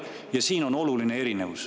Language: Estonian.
Ja siin on oluline erinevus.